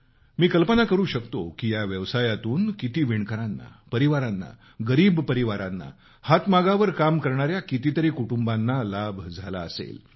मी कल्पना करू शकतो की या व्यवसायातून किती विणकर परिवारांना गरीब परिवारांना हातमागावर काम करणाऱ्या कुटुंबाना किती लाभ झाला असेल